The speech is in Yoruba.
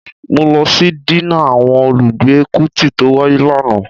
Mó lọ sí dínà àwọn olùgbé Kútì tó wáyé lánàá